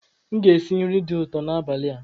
Aga m esi nri dị ụtọ n'abalị a.